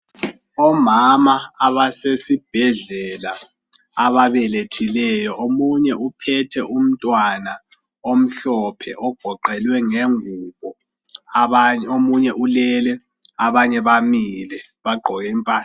Omama abasesibhedlela ababelethileyo omunye uphethe umntwana omhlophe ogoqelwe ngengubo omunye ulele, abanye bamile bagqoke impahla.